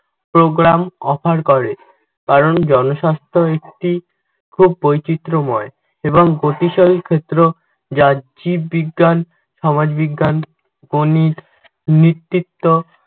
program offer করে। কারণ জনস্বাস্থ্য একটি খুব বৈচিত্রময় এবং গতিশালী ক্ষেত্র যা জীববিজ্ঞান, সমাজবিজ্ঞান ও নেতৃত্ব